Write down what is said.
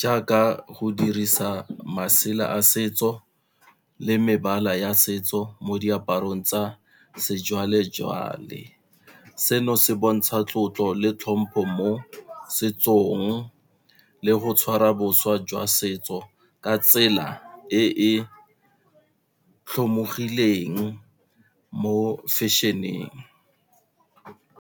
jaaka go dirisa masela a setso le mebala ya setso mo diaparong tsa sejwalejwale. Seno se bontsha tlotlo le tlhompho mo setsong, le go tshwara bošwa jwa setso ka tsela e e tlhomologileng mo fashion-eng.